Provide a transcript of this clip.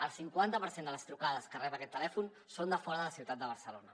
el cinquanta per cent de les trucades que rep aquest telèfon són de fora de la ciutat de barcelona